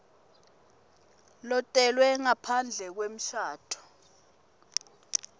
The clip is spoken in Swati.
lotelwe ngaphandle kwemshado